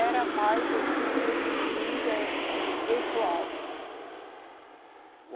Era mais um líder pessoal.